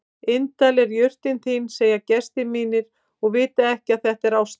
Indæl er jurtin þín segja gestir mínir og vita ekki að þetta er ástin.